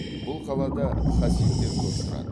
бұл қалада хасидтер көп тұрады